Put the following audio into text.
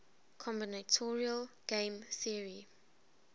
combinatorial game theory